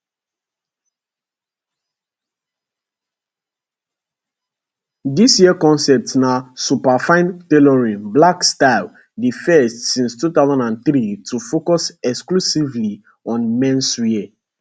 dis year concept na superfine tailoring black style di first since 2003 to focus exclusively on menswear